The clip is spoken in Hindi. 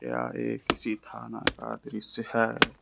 यह एक किसी थाना का दृश्य है।